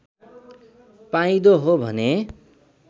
पाइँदो हो भने